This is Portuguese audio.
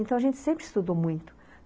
Então a gente sempre estudou muito.